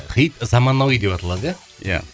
хит заманауи деп аталады иә иә